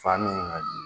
Fa min ŋa di